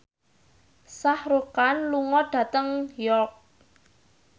Shah Rukh Khan lunga dhateng York